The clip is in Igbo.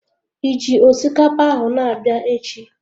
Ịji osikapa ahụ na-abịa echi?